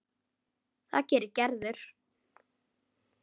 Og það gerir Gerður.